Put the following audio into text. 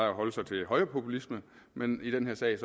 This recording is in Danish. at holde sig til højrepopulisme men i den her sag